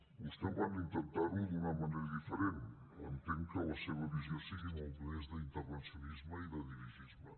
vostès van intentarho d’una manera diferent entenc que la seva visió sigui molt més d’intervencionisme i de dirigisme